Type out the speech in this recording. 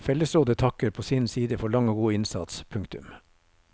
Fellesrådet takker på sin side for lang og god innsats. punktum